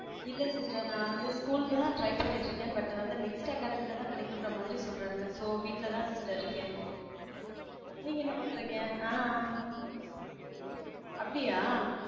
இல்ல sister நா வந்து school ல தான் try பண்ணிட்டு இருக்கேன் but வந்து next academy ல தான் கிடைக்கும்ற மாதிறி சொல்றாங்க so வீட்டுல தான் sister இருக்கேன் நீங்க என்ன பண்றீங்க? ஆஹ் அப்படியா?